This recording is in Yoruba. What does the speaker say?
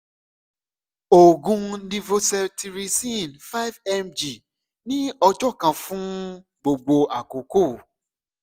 oògùn levocetirizine five mg ni ọjọ kan fun gbogbo akoko